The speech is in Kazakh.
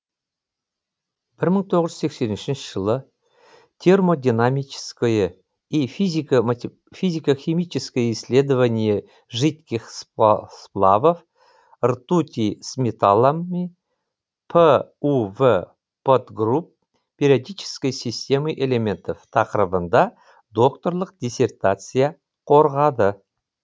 бір мың тоғыз жүз сексен үшінші жылы термодинамическое и физико химическое исследование жидких сплавов ртути с металлами п ув подгрупп периодической системы элементов тақырыбында докторлық диссертация қорғады